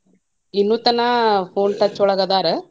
ಇನ್ನು ತನಾ phone touch ಒಳಗ ಅದಾರ.